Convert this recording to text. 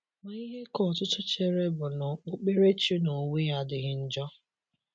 Ma ihe ka ọtụtụ chere bụ na okpukpere chi n’onwe ya adịghị njọ.